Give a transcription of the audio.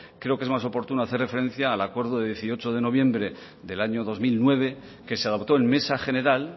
creo que es más oportuno hacer referencia al acuerdo de dieciocho de noviembre del año dos mil nueve que se adoptó en mesa general